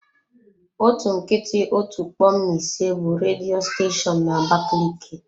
Otu nkịtị otu kpom na ise bụ redio steshoonu na abakaliki.